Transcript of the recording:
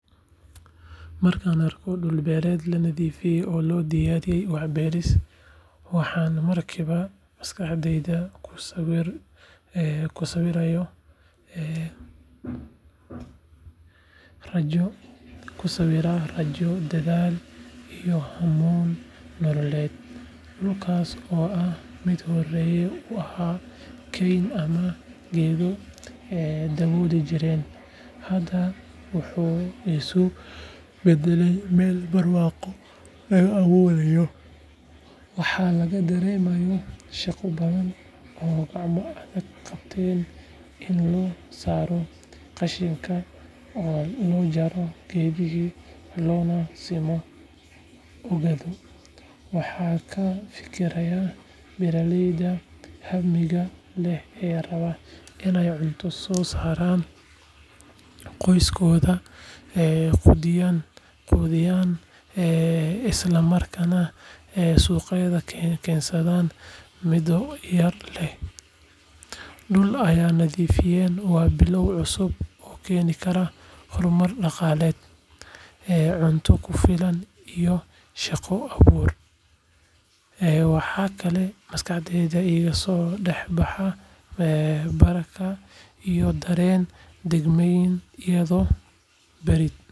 Markan arko dul bereed la nadhifiye oo lo diyariye wax beris waxan marki ba kusawirayo ee rajo kisawira nolol malmeed, dulas oo hore u aha keym ama geedo, hadaa wuxuu isku badale meeel burwaqo laga aburayo waxaa laga daremaya shaqo badan ama in lo saro qashinka oo lona jaro, waxaa ka.fikiraya beera leyda hamiga leh ee suwax wanagsan tuso saran.ee quddhiya ee isla markana ee suqeeda ken, miid kale dul nadhiifiyen waa bilaw og oo keni kara hormar daqaleed.ee cunto kufilan ka dax baxa dagmeyn iya.